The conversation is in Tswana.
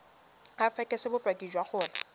o fekese bopaki jwa gore